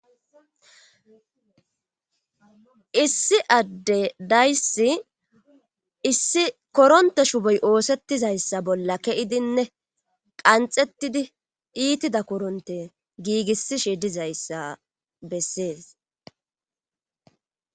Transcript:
issi adde dayssi issi koronte shuboy oosettizayssa bolla keidinne qanxettidi iitida koronte giigissishi dizayssa bessees